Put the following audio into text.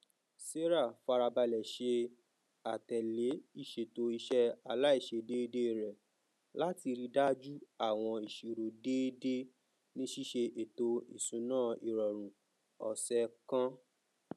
sarah farabalẹ ṣe àtẹlé ìṣètò iṣẹ aláìṣèdeédé rẹ láti ríi dájú àwọn iṣirò déédé ní ṣíṣe étò iṣùnáirọrun ọsẹ kan